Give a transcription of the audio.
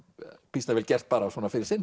býsna vel gert fyrir sinn